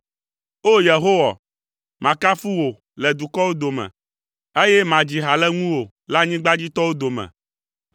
O! Yehowa, makafu wò le dukɔwo dome, eye madzi ha le ŋuwò le anyigbadzitɔwo dome,